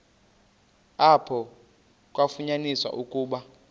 apho kwafunyaniswa ukuba